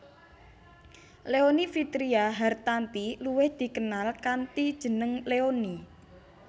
Leony Vitria Hartanti luwih dikenal kanthi jeneng Leony